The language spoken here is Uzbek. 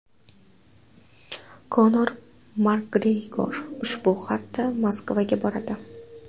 Konor Makgregor ushbu hafta Moskvaga boradi.